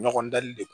Ɲɔgɔn dali le